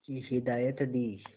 की हिदायत दी